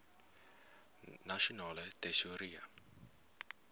nasionale tesourie